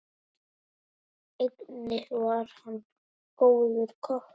Einnig var hann góður kokkur.